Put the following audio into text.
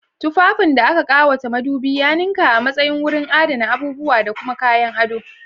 Tufafin da aka ƙawata madubi ya ninka a matsayin wurin adana abubuwa da kuma kayan ado.